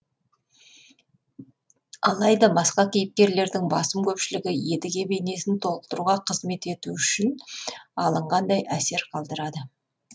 алайда басқа кейіпкерлердің басым көпшілігі едіге бейнесін толықтыруға қызмет ету үшін алынғандай әсер қалдырады